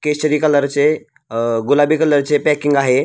केसरी कलरचे अ गुलाबी कलरचे पॅकिंग आहे.